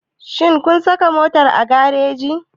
Shin kun saka motar a gareji?